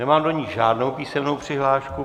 Nemám do ní žádnou písemnou přihlášku.